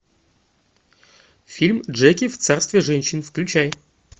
фильм джеки в царстве женщин включай